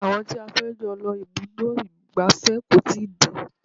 Àwọn tí a fẹ́ jọ lọ ibùdó ìgbafẹ́ kò tíì dé.